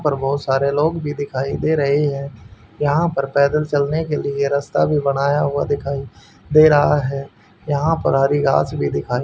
ऊपर बहोत सारे लोग भी दिखाई दे रहे है यहां पर पैदल चलने के लिए रस्ता भी बनाया हुआ दिखाई दे रहा है यहां पर हरी घास भी दिखाई--